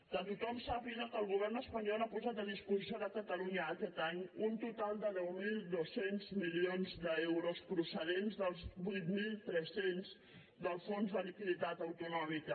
que tothom sàpiga que el govern espanyol ha posat a disposició de catalunya aquest any un total de deu mil dos cents milions d’euros procedents dels vuit mil tres cents del fons de liquiditat autonòmica